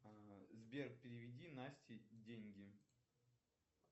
сбер переведи насте деньги